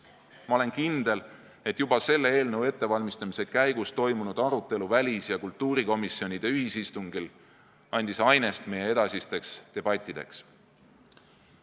Ma olen kindel, et juba selle eelnõu ettevalmistamise käigus toimunud arutelu välis- ja kultuurikomisjoni ühisistungil andis ainest meie edasisteks debattideks.